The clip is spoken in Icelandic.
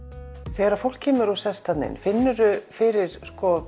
þegar fólk kemur og sest þarna inn finnurðu fyrir